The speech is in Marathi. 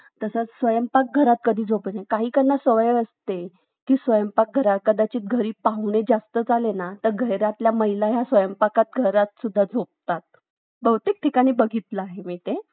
Hello